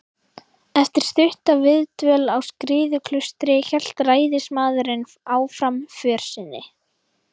Eftir stutta viðdvöl á Skriðuklaustri hélt ræðismaðurinn áfram för sinni.